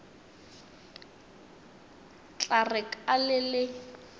tla re ka le le